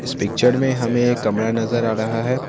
इस पिक्चर में हमें कमरा नजर आ रहा है।